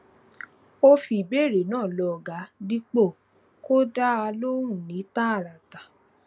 ó fi ìbéèrè náà lọ ọga dípò kó dá a lóhùn ní tààràtà